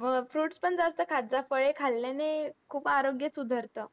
व fruits पण जास्त खात जा. फळे खाल्ल्याने खूप आरोग्य सुधरतं.